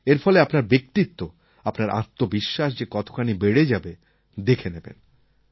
এর ফলে আপনার ব্যক্তিত্ব আপনার আত্মবিশ্বাস যে কতখানি বেড়ে যাবে দেখে নেবেন